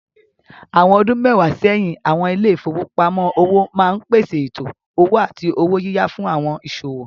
Àwọn ọdún mẹ́wàá sẹ́yìn, àwọn ilé ìfowópamọ́ òwò máa ń pèsè ètò owó àti owó yíyá fún àwọn ìsòwò.